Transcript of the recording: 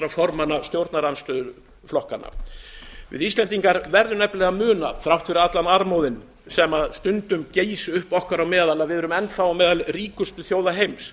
formanna stjórnarandstöðuflokkanna við íslendingar verðum nefnilega að muna þrátt fyrir allan armóðinn sem stundum gýs upp okkar á meðal að við erum enn þá meðal ríkustu þjóða heims